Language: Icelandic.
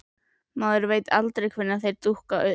Maður veit aldrei hvenær þeir dúkka upp.